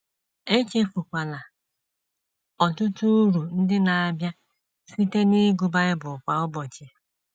Echefukwala ọtụtụ uru ndị na - abịa site n’ịgụ Bible kwa ụbọchị.